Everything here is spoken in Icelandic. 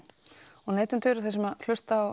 og neytendur sem hlusta á